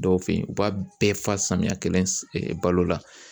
Dɔw fɛ yen u b'a bɛɛ fa samiyɛ kelen balo la